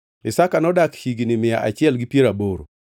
Isaka nodak higni mia achiel gi piero aboro.